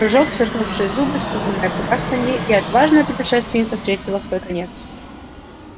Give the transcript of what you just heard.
прыжок сверкнувшие зубы испуганное кудахтанье и отважная путешественница встретила свой конец